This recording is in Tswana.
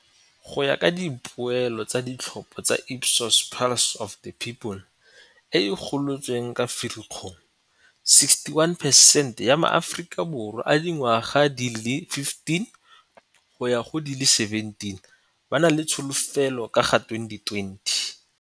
Go ya ka dipoelo tsa ditlhopho tsa Ipsos Pulse of the People e e golotsweng ka Firikgong, 61 percent ya maAforika Borwa a dingwaga di le 15 go ya go di le 17 ba na le tsholofelo ka ga 2020.